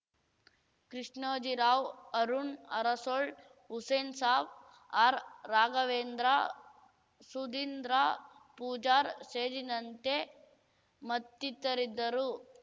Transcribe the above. ಕೃಷ್ಣೋಜಿರಾವ್‌ ಅರುಣ್‌ ಅರಸೊಳ್ ಹುಸೇನ್‌ಸಾಬ್‌ ಆರ್‌ರಾಘವೇಂದ್ರ ಸುದೀಂದ್ರಪೂಜಾರ್ ಸೇರಿನಂತೆ ಮತ್ತಿತರಿದ್ದರು